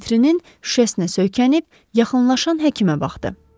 Vitrinin şüşəsinə söykənib yaxınlaşan həkimə baxdı.